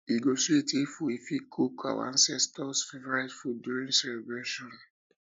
e go sweet if we fit cook our ancestors favorite food during celebrations